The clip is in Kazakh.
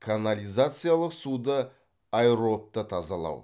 канализациялық суды аэробты тазалау